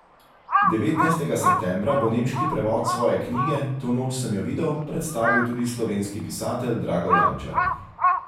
Devetnajstega septembra bo nemški prevod svoje knjige To noč sem jo videl predstavil tudi slovenski pisatelj Drago Jančar.